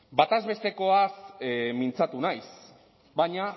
batezbestekoaz mintzatu naiz baina